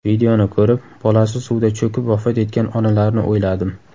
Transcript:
Videoni ko‘rib, bolasi suvda cho‘kib vafot etgan onalarni o‘yladim.